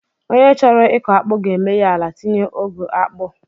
Onye chọrọ ịkọ akpu ga-emeghe ala tinye ogu akpu